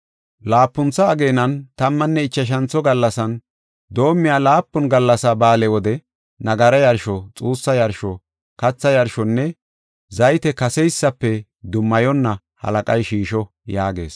“Laapuntho ageenan, tammanne ichashantho gallasan doomiya laapun gallasa ba7aale wode nagara yarsho, xuussa yarsho, katha yarshonne zayte kaseysafe dummayonna halaqay shiisho” yaagees.